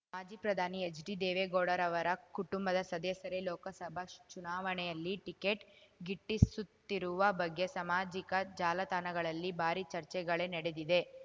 ಮಾಜಿ ಪ್ರಧಾನಿ ಹೆಚ್ಡಿ ದೇವೇಗೌಡರವರ ಕುಟುಂಬದ ಸದಸ್ಯರೇ ಲೋಕಸಭಾ ಚುನಾವಣೆಯಲ್ಲಿ ಟಿಕೇಟ್ ಗಿಟ್ಟಿಸುತ್ತಿರುವ ಬಗ್ಗೆ ಸಾಮಾಜಿಕ ಜಾಲತಾಣಗಳಲ್ಲಿ ಭಾರಿ ಚರ್ಚೆಗಳೇ ನಡೆದಿದೆ